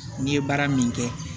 N ye baara min kɛ